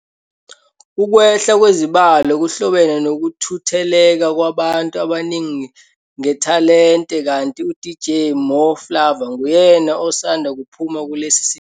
Ukwehla kwezibalo kuhlobene nokuthutheleka kwabantu abaningi ngethalente kanti uDJ Mo Flava nguyena osanda kuphuma kulesi siteshi.